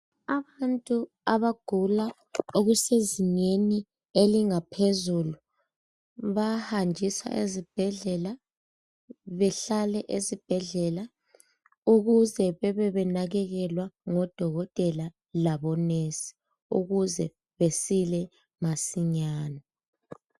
abantu abagula okusezingeni elingaphezulu baya hanjiswa esibhedlela bahlale esibhedlela ukuze bebe benakelelwa ngodokotela labo nensi ukuze besile masinyane.